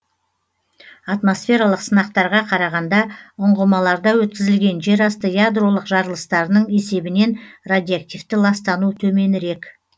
атмосфералық сынақтарға қарағанда ұңғымаларда өткізілген жерасты ядролық жарылыстарының есебінен радиоактивті ластану төменірек